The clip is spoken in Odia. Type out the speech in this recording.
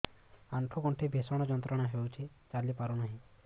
ଆଣ୍ଠୁ ଗଣ୍ଠି ଭିଷଣ ଯନ୍ତ୍ରଣା ହଉଛି ଚାଲି ପାରୁନି